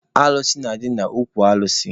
Alụsị na-adị n'okwu alụsị.